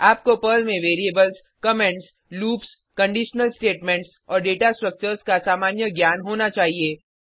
आपको पर्ल में variables comments loops conditional statements और डेटा स्ट्रक्चर्स का सामान्य ज्ञान होना चाहिए